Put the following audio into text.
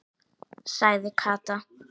sagði Kata.